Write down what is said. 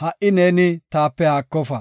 ha77i neeni taape haakofa.